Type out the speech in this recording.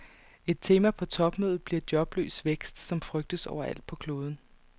Et tema på topmødet bliver jobløs vækst, som frygtes overalt på kloden.